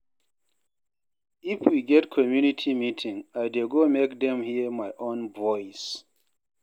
If we get community meeting, I dey go make dem hear my own voice.